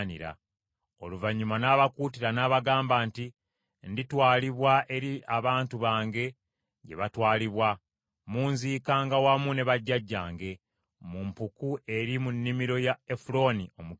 Oluvannyuma n’abakuutira n’abagamba nti, “Nditwalibwa eri abantu bange gye baatwalibwa. Munziikanga wamu ne bajjajjange, mu mpuku eri mu nnimiro ya Efulooni Omukiiti,